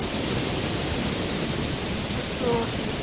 তা তো ঠিক।